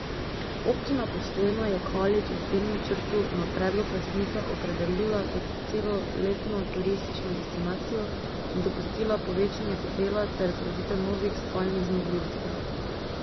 Občina Postojna je Kalič v tem načrtu na predlog lastnika opredelila kot celoletno turistično destinacijo in dopustila povečanje hotela ter zgraditev novih spalnih zmogljivosti.